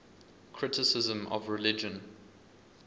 criticism of religion